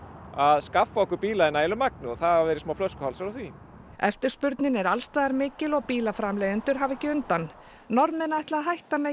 að skaffa okkur bíla í nægilegu magni og það hafa verið smá flöskuhálsar á því eftirspurnin er alls staðar mikil og bílaframleiðendur hafa ekki undan Norðmenn ætla að hætta með